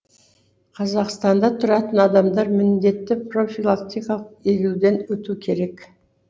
қазақстанда тұратын адамдар міндетті профилактикалық егуден өту керек